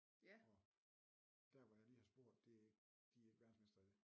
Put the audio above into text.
Og der hvor jeg lige har spurgt det de ikke verdensmestre i det